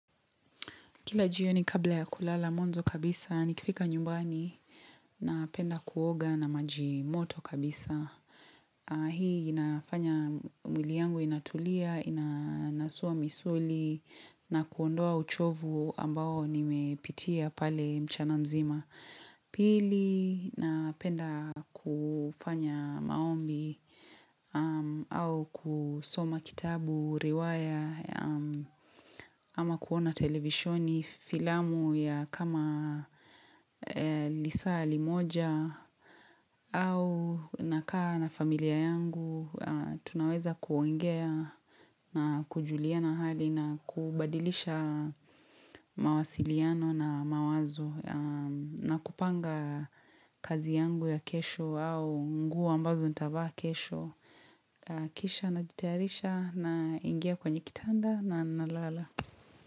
Kila jioni ni kabla ya kulala mwanzo kabisa, nikifika nyumbani napenda kuoga na maji moto kabisa. Hii inafanya mwili yangu inatulia, inanasua misuli na kuondoa uchovu ambao nimepitia pale mchana mzima. Pili napenda kufanya maombi au kusoma kitabu riwaya ama kuona televisoni filamu ya kama lisaa limoja au nakaa na familia yangu tunaweza kuongea na kujuliana hali nakubadilisha mawasiliano na mawazo na kupanga kazi yangu ya kesho au nguo ambazo nitavaa kesho Kisha na jitayarisha naingia kwenye kitanda na nalala.